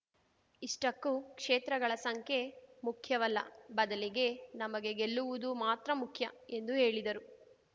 ಇಷ್ಟಕ್ಕೂ ಕ್ಷೇತ್ರಗಳ ಸಂಖ್ಯೆ ಮುಖ್ಯವಲ್ಲ ಬದಲಿಗೆ ನಮಗೆ ಗೆಲ್ಲುವುದು ಮಾತ್ರ ಮುಖ್ಯ ಎಂದು ಹೇಳಿದರು